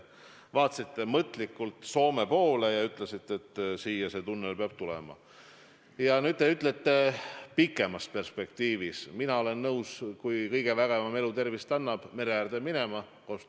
Digivaldkonna kohta me oleme ühel arvamusel, nagu te ütlesite, ometigi, aga võib-olla just seetõttu jäävadki mulle arusaamatuks need vangerdused valitsuses, ning mis seal salata, ka minu kolleegide poolt siin loodud profaanide toetusrühm lamemaa toetuseks.